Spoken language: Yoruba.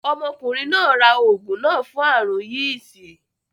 Ọmọkùnrin náà ra oògùn náà fún aàrùn yìsì